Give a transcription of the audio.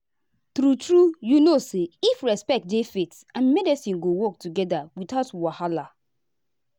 true true you know say if respect dey faith and medicine go work together without wahala.